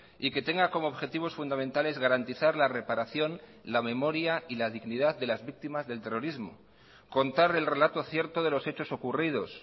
y que tenga como objetivos fundamentales garantizar la reparación la memoria y la dignidad de las víctimas del terrorismo contar el relato cierto de los hechos ocurridos